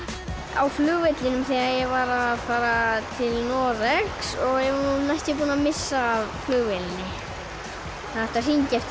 á flugvellinum þegar ég var að fara til Noregs og við vorum næstum því búin að missa af flugvélinni það átti að hringja eftir